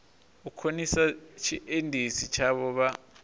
u khonisa tshiendisi tshavho vha